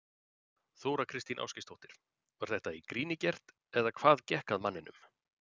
Þóra Kristín Ásgeirsdóttir: Var þetta í gríni gert eða hvað gekk að manninum?